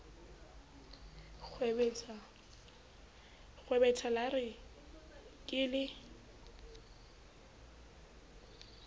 nkgwebetha la re ke le